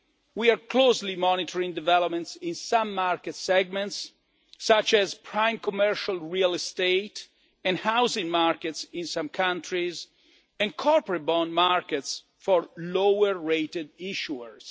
We are closely monitoring developments in some market segments, such as prime commercial real estate and housing markets in some countries, and corporate bond markets for lower rated issuers.